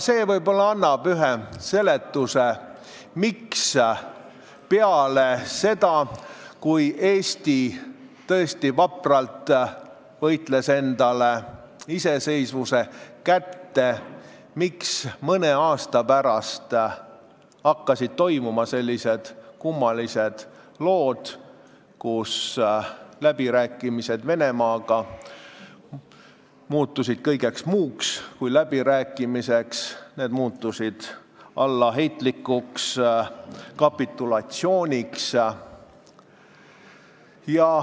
See võib-olla annab ühe seletuse, miks peale seda, kui Eesti tõesti vapralt võitles endale iseseisvuse kätte, hakkasid mõne aasta pärast toimuma sellised kummalised lood, et läbirääkimised Venemaaga muutusid kõigeks muuks kui läbirääkimisteks, need muutusid allaheitlikuks kapitulatsiooniks.